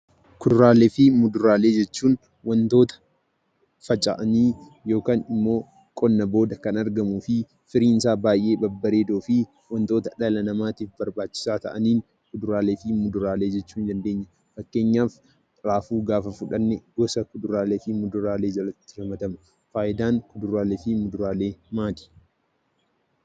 Kuduraalee fi muduraalee jechuun wantoota faca'anii yookan immoo qonna booda kan argamuu fi firiinsaa baay'ee babbareedoo fi wantoota dhala namaatif barbaachisaa ta'anii kuduraaalee fi muduraalee jechuu ni dandeenya. Fakkeenyaaf raafuu gaafa fudhanne gosa kuduraaleef muduraalee jalatti ramadama. Faayidaan kuduraalee fi muduraalee maali?